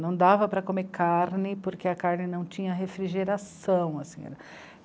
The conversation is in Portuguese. Não dava para comer carne porque a carne não tinha refrigeração assim.